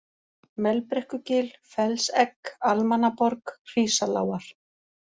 Melbrekkugil, Fellsegg, Almannaborg, Hrísalágar